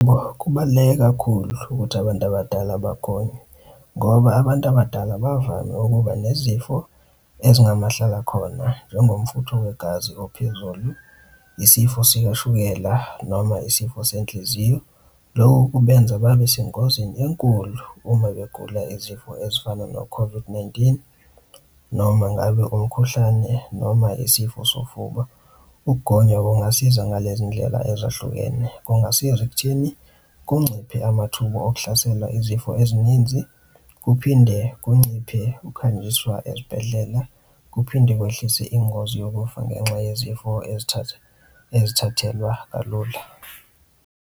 Yebo, kubaluleke kakhulu ukuthi abantu abadala bagome, ngoba abantu abadala bavame ukuba nezifo ezingamahlalakhona njengomfutho wegazi ophezulu, isifo sikashukela noma isifo senhliziyo. Loko kubenza babe sengozini enkulu uma begula izifo ezifana no-COVID-19 noma ngabe umkhuhlane noma isifo sofuba, ukugonywa kungasiza ngalezi ndlela ezahlukene, kungasiza ekuthini kunciphe amathuba okuhlasela izifo ezininzi, kuphinde kunciphe ukuhanjiswa ezibhedlela, kuphinde kwehlise ingozi yokufa ngenxa yezifo ezithatha, ezithathelwa kalula.